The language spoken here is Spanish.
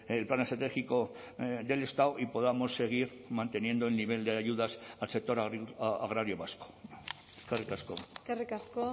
el plan estratégico del estado y podamos seguir manteniendo el nivel de ayudas al sector agrario vasco eskerrik asko eskerrik asko